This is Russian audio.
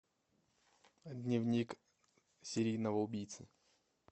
дневник серийного убийцы